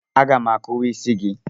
Aga m akuwa isi gị.